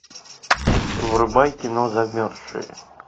врубай кино замерзшие